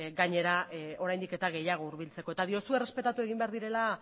gainera oraindik eta gehiago hurbiltzeko eta diozu errespetatu egin behar direla